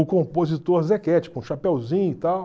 O compositor Zequete, com o chapéuzinho e tal.